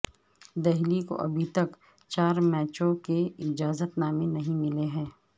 دہلی کو ابھی تک چار میچوں کے اجازت نامے نہیں ملے ہیں